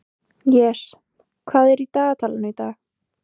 Jes, hvað er í dagatalinu í dag?